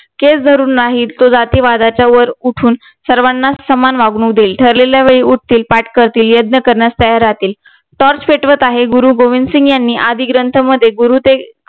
केस धरून नाही तो जातीवादाच्या वर उठून सर्वांना समान वागणूक देईल. ठरलेल्या वेळी उठतील, पाठ करतील, यज्ञ करण्यास तयार राहतील, TORCH पेटवत आहे. गुरु गोबिंदसिंघ यांनी आदी ग्रंथ मध्ये गुरु ते